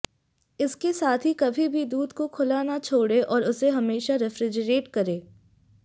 इसके साथ ही कभी भी दूध को खुला ना छोड़ें और उसे हमेशा रेफ्रीजेरेट करें